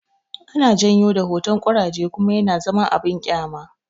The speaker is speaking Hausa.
Ana janyo da hotan koraje kuma yana zama abin kyama